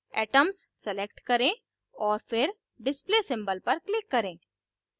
atoms select करें और फिर display symbol पर click करें